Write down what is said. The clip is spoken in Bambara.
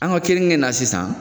An ka keninge in na sisan